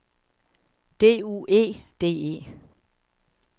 D U E D E